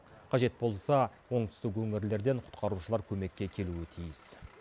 қажет болса оңтүстік өңірлерден құтқарушылар көмекке келуі тиіс